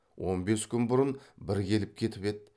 он бес күн бұрын бір келіп кетіп еді